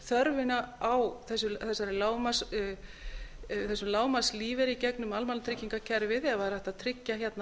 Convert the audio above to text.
þörfinni á þessum lágmarkslífeyri í gegnum almannatryggingakerfið ef það er hægt að tryggja hérna